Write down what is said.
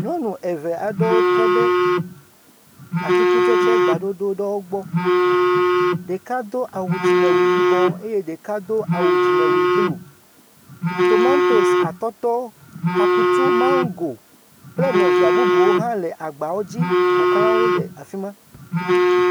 Nyɔnu eve aɖewo tɔ ɖe atsikutsetsegba ɖoɖo aɖewo gbɔ. Ɖeka do awu dzime yibɔ eye ɖeka do awu dzimewui blu. Tomatosi, atɔtɔ, akutu, maŋgo kple nɔvia bubuwo hã le agbawo ƒoxlã wo le afi ma.